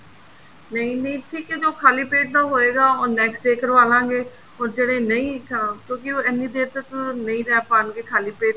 ਨਹੀਂ ਨਹੀਂ ਠੀਕ ਹੈ ਜੋ ਖ਼ਾਲੀ ਪੇਟ ਦਾ ਹੋਏਗਾ ਉਹ next day ਕਰਵਾਲਾਗੇ or ਜਿਹੜੇ ਨਹੀਂ ਅਹ ਕਿਉਂਕਿ ਉਹ ਐਨੀ ਦੇਰ ਤੱਕ ਨਹੀਂ ਰਹਿ ਪਾਣਗੇ ਖਾਲੀ ਪੇਟ